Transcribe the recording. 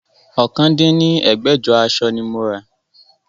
ọ̀kan dín ní ẹgbẹ́jọ aṣọ ni mo rà